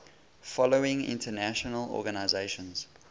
following international organizations